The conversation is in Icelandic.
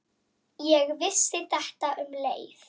Ég vissi þetta um leið.